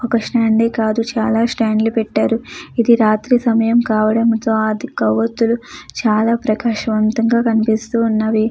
ఒక స్టాండ్ కాదు చాలా స్టాండ్లు పెట్టారు. ఇది రాత్రి సమయం కావడంతో ఆ కోవత్తులు చాలా ప్రకాశవంతంగా కనిపిస్తూ ఉన్నవి.